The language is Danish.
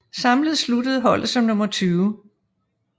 Samlet sluttede holdet som nummer 20